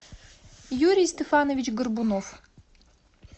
юрий стефанович горбунов